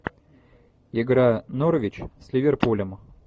игра норвич с ливерпулем